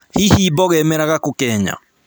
Hihi mboga imeraga kũ Kenya?